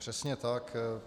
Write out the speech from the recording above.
Přesně tak.